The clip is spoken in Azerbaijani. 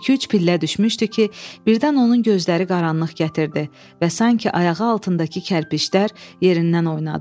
İki-üç pillə düşmüşdü ki, birdən onun gözləri qaranlıq gətirdi və sanki ayağı altındakı kərpişlər yerindən oynadı.